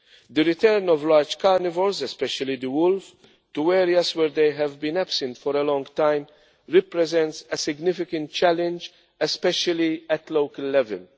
The return of large carnivores, especially the wolf, to areas where they have been absent for a long time represents a significant challenge, especially at local level.